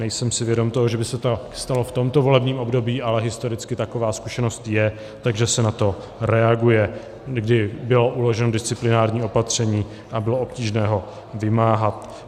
Nejsem si vědom toho, že by se to stalo v tomto volebním období, ale historicky taková zkušenost je, takže se na to reaguje, kdy bylo uloženo disciplinární opatření a bylo obtížné ho vymáhat.